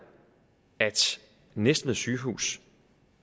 at næstved sygehus